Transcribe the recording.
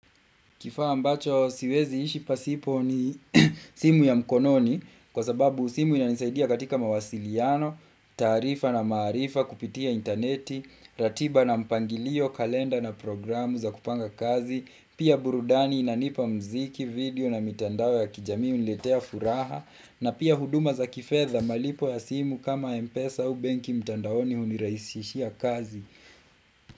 Kifaa ambacho siwezi ishi pasipo ni simu ya mkononi kwa sababu simu inanisaidia katika mawasiliano, tarifa na maarifa, kupitia interneti, ratiba na mpangilio, kalenda na programu za kupanga kazi, pia burudani inanipa mziki, video na mitandao ya kijamii huniletea furaha, na pia huduma za kifedha malipo ya simu kama mpesa au banki mitandaoni huniraisishia kazi.